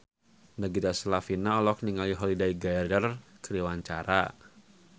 Nagita Slavina olohok ningali Holliday Grainger keur diwawancara